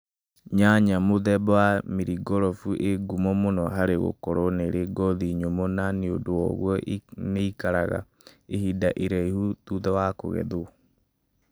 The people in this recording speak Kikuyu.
Nyanya mũthemba wa Maringurubu ĩ ngumo mũno hari gũkorũo na ngothi nyũmũ na nĩũndũ woguo nĩ ĩĩkaraga ihinda iraihu thutha wa kũgethũo